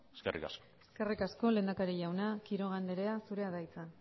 eskerrik asko eskerrik asko lehendakari jauna quiroga andrea zurea da hitza